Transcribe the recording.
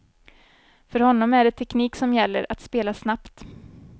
För honom är det teknik som gäller, att spela snabbt.